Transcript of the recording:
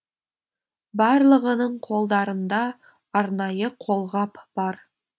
барлығының қолдарында арнайы қолғап бар